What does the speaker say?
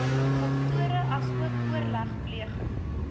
faktore asook oorlegpleging